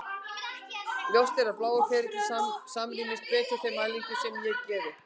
Ljóst er að blái ferillinn samrýmist betur þeim mælingum sem ég gerði.